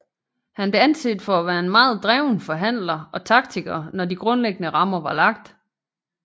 Han blev anset for at være en meget dreven forhandler og taktiker når de grundlæggende rammer var lagt